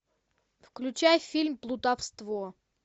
включай фильм плутовство